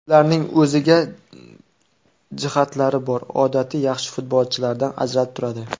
Ularning o‘ziga jihatlari bor, odatiy yaxshi futbolchilardan ajralib turadi.